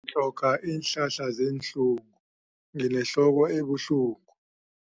tlhoga iinhlahla zeenhlungu nginehloko ebuhlungu.